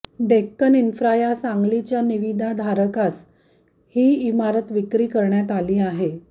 Deccan infra या सांगलीच्या निविदाधारकास ही इमारत विक्री करण्यात आली आहे